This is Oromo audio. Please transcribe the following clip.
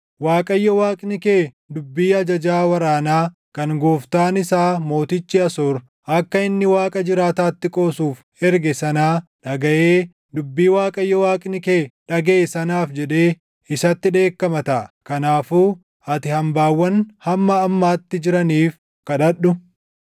Waaqayyo Waaqni kee dubbii ajajaa waraanaa kan gooftaan isaa mootichi Asoor akka inni Waaqa jiraataatti qoosuuf erge sanaa dhagaʼee dubbii Waaqayyo Waaqni kee dhagaʼe sanaaf jedhee isatti dheekkama taʼa. Kanaafuu ati hambaawwan hamma ammaatti jiraniif kadhadhu.”